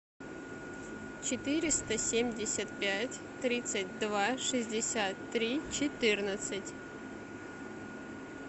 четыреста семьдесят пять тридцать два шестьдесят три четырнадцать